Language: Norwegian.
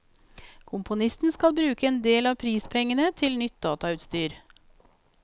Komponisten skal bruke en del av prispengene til nytt datautstyr.